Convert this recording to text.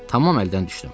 Tamam əldən düşdüm.